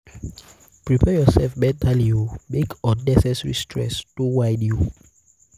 prepare urself mentally o mek um unnecessary stress no whine you um